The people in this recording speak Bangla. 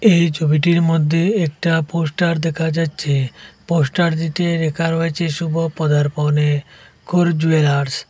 এই ছবিটির মধ্যে একটা পোস্টার দেখা যাচ্ছে পোস্টারটিতে লেখা রয়েছে শুভ পদার্পনে কর জুয়েলার্স ।